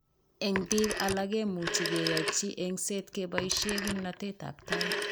Eng' biik alak komuchi keyochi eng'set keboishe kimnatetab tait